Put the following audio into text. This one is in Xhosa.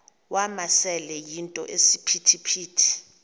wamasele yinto esisiphithi